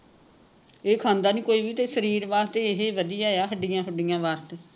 ਇਹ ਖਾਂਦਾ ਨਹੀਂ ਕੋਈ ਤੇ ਸ਼ਰੀਰ ਵਾਸਤੇ ਇਹ ਵਧੀਆ ਆ ਹੱਡੀਆਂ ਹੁੱਡੀਆਂ ਵਾਸਤੇ